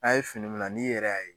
a' ye fini mina n'i yɛrɛ y'a ye.